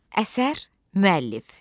Əsər müəllif.